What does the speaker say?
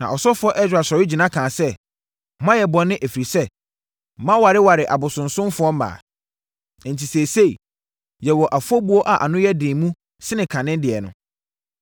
Na ɔsɔfoɔ Ɛsra sɔre gyina kaa sɛ, “Moayɛ bɔne, ɛfiri sɛ, moawareware abosonsomfoɔ mmaa. Enti seesei, yɛwɔ afɔbuo a ano yɛ den mu sene kane deɛ no.